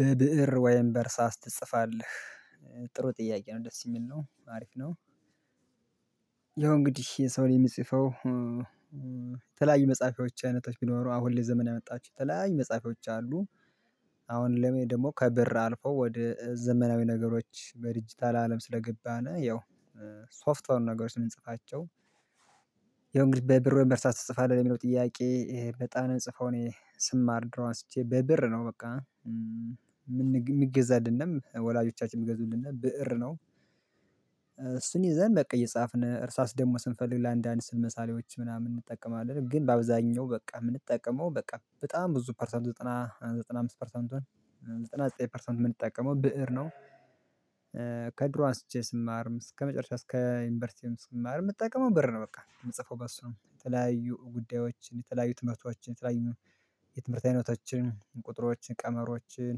በብእር ወይም በእርሳስ ትጽፋለህ? ጥሩ ጥያቄ ነው ደስ የሚል ነው አሪፍ ነው። ያው እንግዲህ የሰውን የሚጽፈው የተለያዩ መጽሐፊች አይነቶች ቢኖሩ አሁን ላይ ዘመን ያመጣችሁ የተለያዩ መጽሐፊያዎች አሉ። አሁን ለኔ ደግሞ ከብር አልፈው ወደ ዘመናዊ ነገሮች በድጅታል ለአለም ስለገባን ያው ሶፍትወር ነገሮችን የምንጽፋቸው። ያው እንግዲህ በብር ወይም በእርሳስ ትጽፋለህ የሚለው ጥያቄ በጣ የምጽፈው እኔ ስማር ድሮ አስቼ በብእር ነው በቃ የምገዛልንም ወላጆቻችን የሚገዙልን ብእር ነው። እሱን ይዘን በቃ እየጻፍን እርሳስ ደግሞ ስንፈልግ ለአንዳንድ ስዕል መሳሌዎች ምናምን እንጠቀማለን ግን በአብዛኛው በቃ የምንጠቀመው በቃ በጣም ብዙ ፐርሰንቱ ዘጠና ዘጠና አምስት ፐርሰንቱን ዘጠና ዘጠኝ ፐርሰንት የምንጠቀመው ብእር ነው። አንስቼ ስማርም እስከመጨረሻ እስከ ዩንቨርስቲ ስማርም የምጠቀመው በእር ነው በቃ የምጽፈው በሱ ነው የተለያዩ ጉዳዮችን የተለያዩ ትምህርቶችን የተለያዩ የትምህርት አይነቶችን ቁጥሮችን ቀመሮችን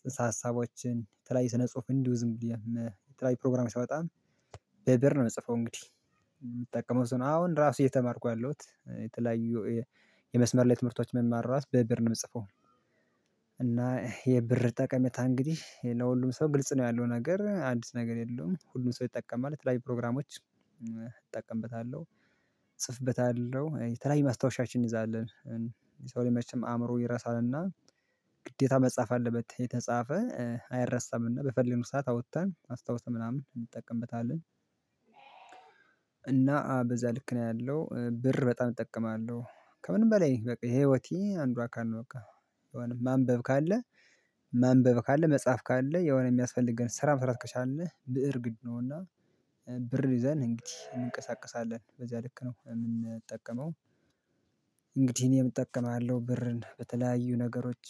ጽንሰ ሀሳቦችን የተለያየ ስነ ጽሁፍ እንዲው ዝም ብዬ የተለያየ ፕሮግራም በጣም በብእር ነው የምጽፈው እንግዲህ። የምጠቀመው አሁን ራሱ እየተማርኩ ያለሁት የተለያዩ የመስመር ላይ ትምህርቶች መማር መማራት በብእር ነው የምጽፈው። እና የብእር ጠቀሜታ እንግዲህ ለሁሉም ሰው ግልጽ ነው ያለው ነገር አንዲት ነገር የለውም ሁሉም ሰው ይጠቀማል ለተለያይ ፕሮግራሞች እጠቀምበታለሁ እጽፍበታለሁ የተለያየ ማስታወሻዎችን እኒዛለን የሰው ላጅ መቼም አእምሮ ይረሳል እና ግዴታ መጻፍ አለበት የተጻፈ አይረሳም እና በፈለግነው ሰዓት አውጥተን አስታውሰን ምናምን እንጠቀምበታለን። እና በዛ ልክ ነው ያለው ብእር በጣም እጠቀማለሁ ከምንም በላይ ይሄ ህይወቴ አንዱ አካል ነው። በቃ ማንበብ ካለ ማንበብ ካለ መጻፍ ካለ የሆነ የሚያስፈልግ ግን ስራ መሰረት ከቻልን ብእር ግድ ነው እና ብእር ይዘን እንግዲህ እንቀሳቀሳለን በዚያ ልክ ነው የምንጠቀመው። እንግዲህ እኔም እጠቀማለሁ ብእርን በተለያዩ ነገሮች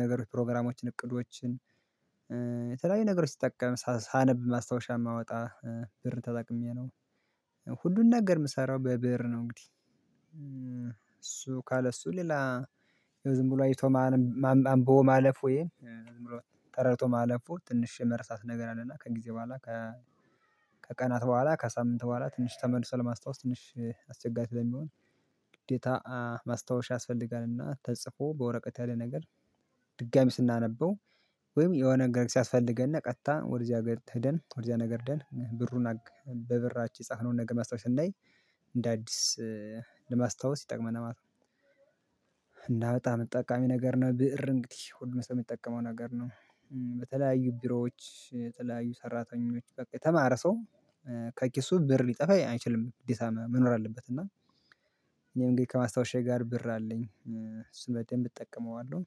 ነገሮች ፕሮግራሞችን እቅዶችን የተለያዩ ነገሮች ስጠቀም ሳነብ ማስታወሻ ማውጣት ብእር ተጠቅሜ ነው ሁሉን ነገር የምሰራው በብእር ነው እንግዲህ። ካለ እሱ ሌላ ዝም ብሎ አይቶ ማንቦ ማለፍ ወይ ተረድቶ ማለፍ ትንሽ የመረሳት ነገር አለ እና ከእንግዲህ በኋላ ከ ከቀናት በኋላ ከሳምንት በኋላ ትንሽ ተመልሶ ለማስታወስ ትንሽ አስየጋሪ ስለሚሆን ግዴታ ማስታወሻ ያስፈልጋልና ተጽፎ በወረቀት ያለ ነገር ድጋሚ ስናነበው ወይም የሆነ ነገር ሲያስፈልገን እና ቀጥታ ወደዚያ ነገር ህድን ወደዚያ ነገር ህደን በብእሩ በብእራችን የፀፍነውን ነገር ማስታወስ ስናይ እንደ አዲስ ለማስታወስ ይጠቅመናል። እና በጣም ጠቃሚ ነገር ነው ብእር እንግዲህ ሁሉም ሰው የምትጠቀመው ነገር ነው። በተለያዩ ቢሮዎች የተለያዩ ሰራተኞች በቃ የተማረ ሰው ከኪሱ ብር ሊጠፋ አይችልም ግዴታ መኖር አለበት እና ግን ከማስታወሻዬ ጋር ብእር አለኝ እሱን በደብ እጠቀመዋለሁ።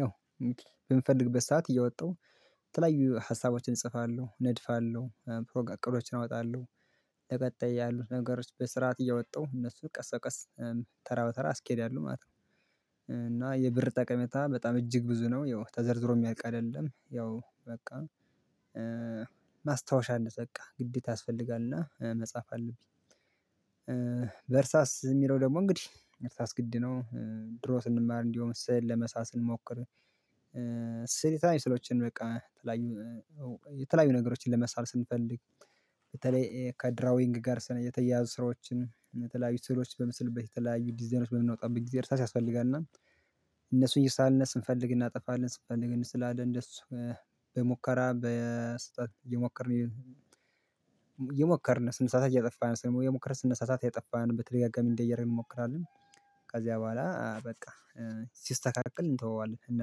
ያው በምፈልግበት ሰዓት እየወጣሁ የተለያዩ ሀሳቦችን እጽፋለሁ ነድፋለሁ እቅዶችን እወጣለሁ በቀጣይ ያሉት ነገሮች በስርዓት እየወጣሁ እነሱ ቀስ በቀስ ተራ በተራ አስኬዳለው ማለት ነው። እና የብእር ጠቀሜታ በጣም እጅግ ብዙ ነው ያው ተዘርዝሮ የሚያልቅ አይደለም ያው በቃ። ማስታወሻ እንያዝ በቃ ግዴታ ያስፈልጋልና መጻፍ አለብኝ። በእርሳስ የሚለው ደግሞ እንግዲህ እርሳስ ግድ ነው ድሮ ስንማር እንዲሆን ስል ለመሳሰል ስንሞክር ስዕሎችን በቃ የተለያዩ የተለያዩ ነገሮችን ለመሳል ስንፈልግ በተለይ ከድራዊንግ ጋር የተያያዙ ስራዎችን የተለያዩ ስዕሎች በምስልበት የተለያዩ ዲዛይኖች በምንወጣበት ጊዜ እርሳስ ያስፈልጋል እና እነሱ እየሳልን ስንፈልግ እናጠፋለን ስንፈልግ እስላለን እንደሱ በሙከራ በስህተት እየሞከርን እየሞከርን የሞከርን ስነመሳሳት እየጠፋን ስነ ስነ ስነሳሳት እየጠፋን በተደጋጋሚ እንዲያ እያደረግን እንሞክራለን። ከዚያ በኋላ በቃ ሲስተካከል እንተወዋለን እና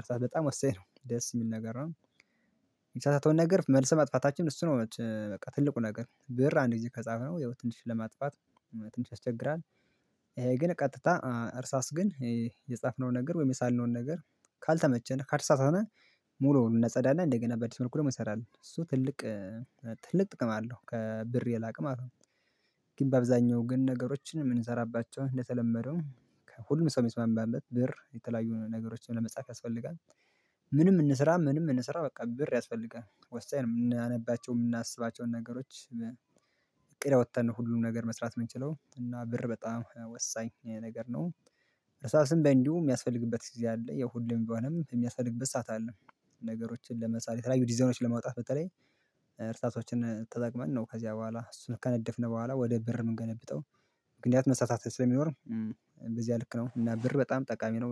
እርሳህ በጣም ወባኝ ነገር ነው ደስ የሚል ነገር ነው። ምንሳሳተዉን ነገር መልስ መጥፋታችን እሱ ነው በቃ ትልቁ ነገር ብእር አንድ ጊዜ ከጻፈው የሆነ ትንሽ ለማጥፋት ትንሽ ያስቸግራል። ይሄ ግን ቀጥታ እርሳስ ግን የጻፍነው ነገር ወይም የሳልነውን ነገር ካልተመቸ ነው ከተሳሳትን ሙሉውን እናጸዳለን እንደገና በዲስ መልኩ ደግሞ እንሰራለን እሱ ትልቅ ትልቅ ጥቅም አለው ከብእር የላቀ ማለት ነው። ግን በአብዛኛው ግን ነገሮችን የምንሰራባቸው እንደተለመደው ከሁሉም ሰው የሚስማማበት ብር የተለያዩ ነገሮችን ለመጻፍ ያስፈልጋል። ምንም እንስራ ምንም እንስራ በቃ ብእር ያስፈልጋል ወሳኝ ነው የምናነባቸው የምናስባቸውን ነገሮች እቅድ ያወጣን ሁሉንም ነገር መስራት የምንችለው እና ብእር በጣም ወሳኝ ነገር ነው። እርሳስም በእንዲሁ የሚያስፈልግበት ጊዜ አለ ያው ሁሌም ባሆንም የሚያስፈልግበት ሰዓት አለ። ነገሮችን ለመሳል የተለያዩ ዲዛዮችን ለማውጣት በተለይ እርሳቶችን ተጠቅመን ነው ከዚያ በኋላ እሱን ከነደፍነው በኋላ ወደ ብእር የምንገለብጠው ምክንያት መሳተፍት ስለሚኖር በዚህ ልክ ነው እና ብእር በጣም ጠቃሚ ነው